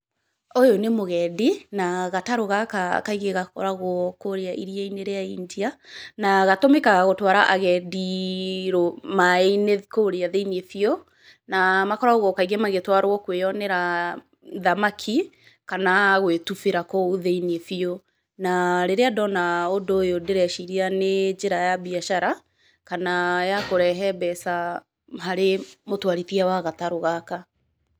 Ũyũ nĩ mũgendi, na gatarũ gaka kaingĩ gakoragwo kũrĩa iriia-inĩ rĩa India na gatũmĩkaga gũtwara agendi maaĩ-inĩ kũrĩa thĩiniĩ biũ na makoragwo kaingĩ magĩtwarwo kũĩyonera thamaki, kana gũĩtubĩra kũũ thĩiniĩ biũ. Na rĩrĩa ndona ũndũ ũyũ ndĩreciria nĩ njĩra ya biacara, kana ya kũrehe mbeca harĩ mũtwarithia wa gatarũ gaka.